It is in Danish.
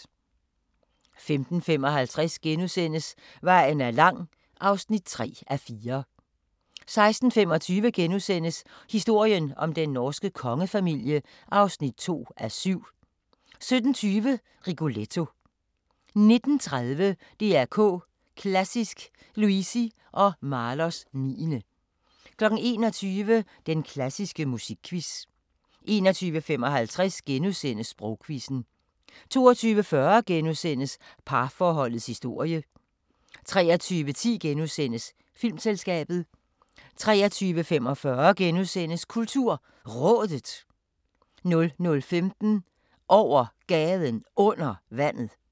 15:55: Vejen er lang (3:4)* 16:25: Historien om den norske kongefamilie (2:7)* 17:20: Rigoletto 19:30: DR K Klassisk: Luisi og Mahlers 9. 21:00: Den klassiske musikquiz 21:55: Sprogquizzen * 22:40: Parforholdets historie * 23:10: Filmselskabet * 23:45: KulturRådet * 00:15: Over Gaden Under Vandet